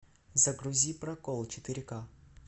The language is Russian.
загрузи прокол четыре ка